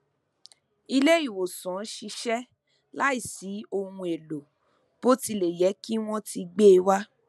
ile ìwòsàn ṣiṣẹ láìsí ohun èlò bó tilẹ yẹ kí wọn ti gbe e wa